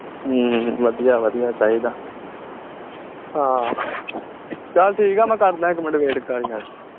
ਹਮ ਵਧੀਆ ਵਧੀਆ ਚਾਹੀਦਾ ਹਾਂ ਚੱਲ ਠੀਕ ਆ ਮੈਂ ਕਰਦਾਂ ਇਕ ਮਿੰਟ wait ਕਰ ਯਾਰ